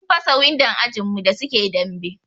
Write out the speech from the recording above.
Sun fasa windon ajin mu da suke dambe.